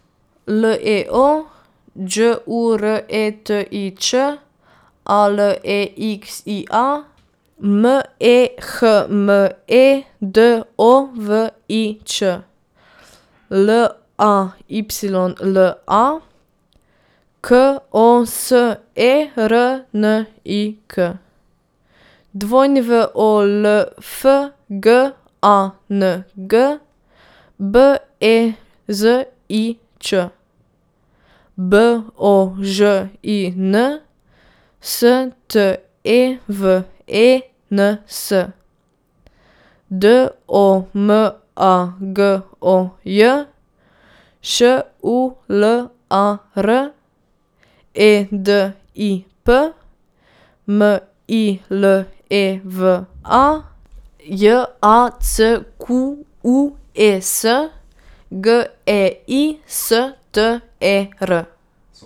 L E O, Đ U R E T I Ć; A L E X I A, M E H M E D O V I Č; L A Y L A, K O S E R N I K; W O L F G A N G, B E Z I Ć; B O Ž I N, S T E V E N S; D O M A G O J, Š U L A R; E D I P, M I L E V A; J A C Q U E S, G E I S T E R.